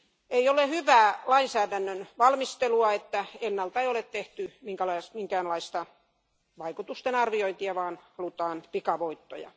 Ei ole hyvää lainsäädännön valmistelua, ettei ennalta ole tehty minkäänlaista vaikutustenarviointia vaan halutaan pikavoittoja.